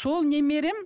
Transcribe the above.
сол немерем